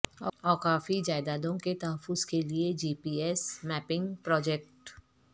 اوقافی جائیدادوں کے تحفظ کیلئے G P S mapping project